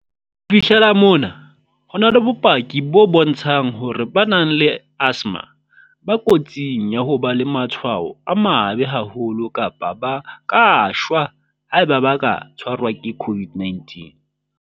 "Ho fihlela mona, ho na le bopaki bo bontshang hore ba nang le asthma ba kotsing ya ho ba le matshwao a mabe haholo kapa ba ka shwa haeba ba ka tshwarwa ke COVID-19."